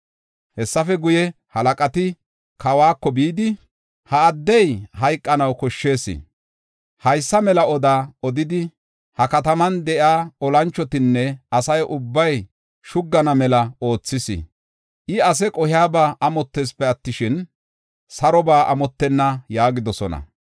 Hessafe guye, halaqati kawako bidi, “Ha addey hayqanaw koshshees; haysa mela oda odidi, ha kataman de7iya olanchotinne asa ubbay shuggana mela oothis. I ase qohiyaba amotteesipe attishin, saroba amottenna” yaagidosona.